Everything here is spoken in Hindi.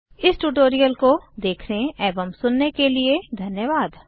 इस ट्यूटोरियल को देखने एवं सुनने के लिए धन्यवाद